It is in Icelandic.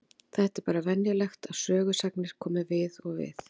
Þetta er bara venjulegt að sögusagnir komi við og við.